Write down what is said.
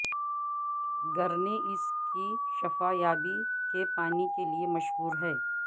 گرنے اس کی شفا یابی کے پانی کے لئے مشہور ہے